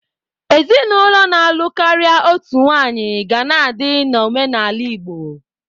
Ezinụlọ na-alụ karịa otu nwaanyị ga na-adị na omenala Igbo.